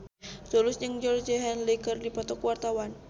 Tulus jeung Georgie Henley keur dipoto ku wartawan